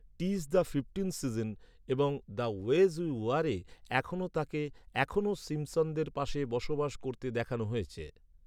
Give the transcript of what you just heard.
"টিস the fifteenth season" এবং "the wedge we ওয়ারে" তাঁকে এখনও সিম্পসনদের পাশে বসবাস করতে দেখানো হয়েছে।